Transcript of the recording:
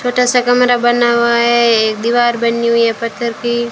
छोटा सा कमरा बना हुआ है एक दीवार बनी हुई है पत्थर की--